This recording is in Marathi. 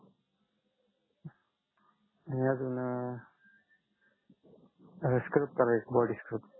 अजून स्क्रब करा एक बॉडी स्क्रब